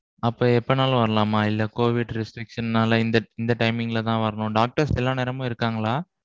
அப்ப எப்போனாலும் வரலாமா? இல்ல covid restrictions நால இந்த இந்த timing ல தான் வரணும் doctors எல்லா நேரமும் இருக்காங்களா?